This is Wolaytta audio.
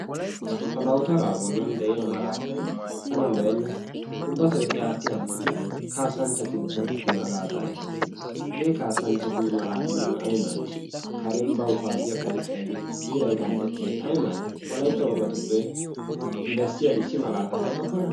Ta dawutaara bollan de'iya malaatay tana lo"enna. Ubbato eti aati aattidi kassanchchatu malaataa ehoosona hagee kasanchchatu malaatay nuna ay maaddi kare bawu kuwaassiya ponqqiyaageeti biray qanxxettiyode ay maaddi wolaytta wogatuppe besiya issi malaataa wottokkona?